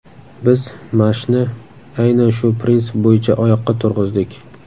Biz Mash’ni aynan shu prinsip bo‘yicha oyoqqa turg‘izdik.